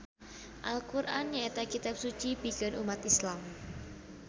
Al Qur'an nyaeta kitab suci pikeun ummat Islam.